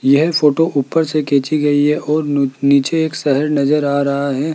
यह फोटो ऊपर से खींची गई है और नू नीचे एक शहर नजर आ रहा है।